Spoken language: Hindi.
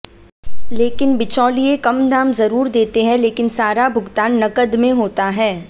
लेकिन बिचौलिये कम दाम जरूर देते हैं लेकिन सारा भुगतान नकद में होता है